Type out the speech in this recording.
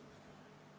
Suur tänu ettekandjale!